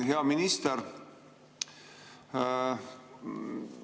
Hea minister!